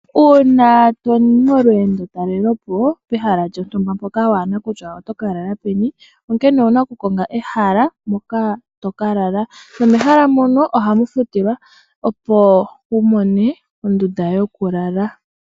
Uuna toyi molweendo talelepo pehala mpoka kuuna kutya otoka lala peni owuna oku konga ehala mpoka toka lala. Mehala mono ohamu futilwa, opo wu mone ondunda yokulala.